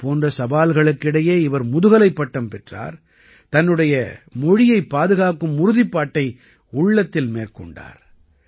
இதைப் போன்ற சவால்களுக்கு இடையே இவர் முதுகலைப் பட்டம் பெற்றார் தன்னுடைய மொழியைப் பாதுகாக்கும் உறுதிப்பாட்டை உள்ளத்தில் மேற்கொண்டார்